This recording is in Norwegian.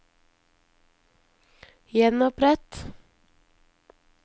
gjenopprett